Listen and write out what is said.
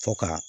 Fɔ ka